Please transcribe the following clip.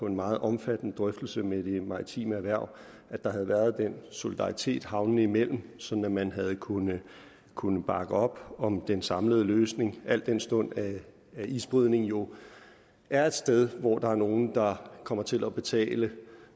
en meget omfattende drøftelse med det maritime erhverv at der havde været den solidaritet havnene imellem sådan at man havde kunnet kunnet bakke op om den samlede løsning al den stund at isbrydning jo er et sted hvor der er nogle der kommer til at betale